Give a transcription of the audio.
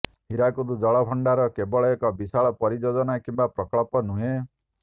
ହୀରାକୁଦ ଜଳ ଭଣ୍ଡାର କେବଳ ଏକ ବିଶାଳ ପରିଯୋଜନା କିମ୍ବା ପ୍ରକଳ୍ପ ନୁହେଁ